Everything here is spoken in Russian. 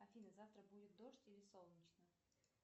афина завтра будет дождь или солнечно